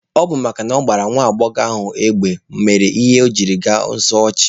Ọ bụ makana ọ gbagburu nwa agbọghọ ahụ n'amaghị ama mere o jiri gbaa ọsọ ọchụ.